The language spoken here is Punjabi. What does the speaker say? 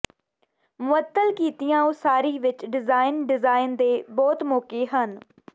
ਮੁਅੱਤਲ ਕੀਤੀਆਂ ਉਸਾਰੀ ਵਿੱਚ ਡਿਜ਼ਾਇਨ ਡਿਜ਼ਾਇਨ ਦੇ ਬਹੁਤ ਮੌਕੇ ਹਨ